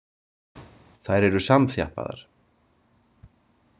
Þær eru samþjappaðar.